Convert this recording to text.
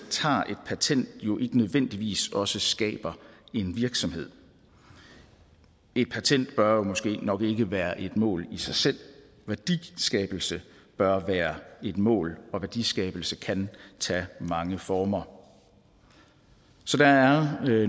patent jo ikke nødvendigvis også skaber en virksomhed et patent bør jo måske nok ikke være et mål i sig selv værdiskabelse bør være et mål og værdiskabelse kan tage mange former så der er